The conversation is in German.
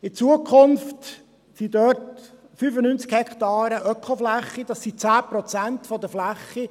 In Zukunft gibt es dort 95 Hektaren Ökofläche, das sind 10 Prozent der Fläche.